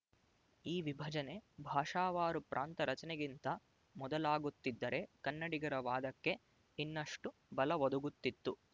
ಈ ವಿಭಜನೆ ಭಾಷಾವಾರು ಪ್ರಾಂತ ರಚನೆಗಿಂತ ಮೊದಲಾಗುತ್ತಿದ್ದರೆ ಕನ್ನಡಿಗರ ವಾದಕ್ಕೆ ಇನ್ನಷ್ಟು ಬಲವೊದಗುತ್ತಿತ್ತು